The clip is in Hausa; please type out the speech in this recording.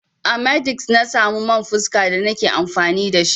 A h-medix na samu man fuska da na ke amfani da shi.